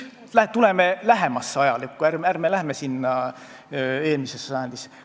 Tuleme lähemasse ajalukku, ärme lähme eelmisesse sajandisse.